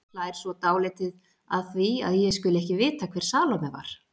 Hlær svo dálítið að því að ég skuli ekki vita hver Salóme var.